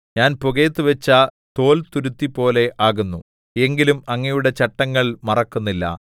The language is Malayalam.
ഞാൻ പുകയത്തു വച്ച തോൽതുരുത്തിപോലെ ആകുന്നു എങ്കിലും അങ്ങയുടെ ചട്ടങ്ങൾ മറക്കുന്നില്ല